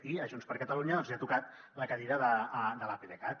i a junts per catalunya doncs li ha tocat la cadira de l’apdcat